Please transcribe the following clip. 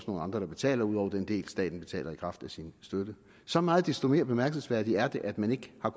nogle andre der betaler ud over den del staten betaler i kraft af sin støtte så meget desto mere bemærkelsesværdigt er det at man ikke har